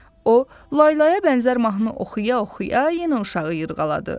O, laylaya bənzər mahnı oxuya-oxuya yenə uşağı yırğaladı.